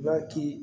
I b'a k'i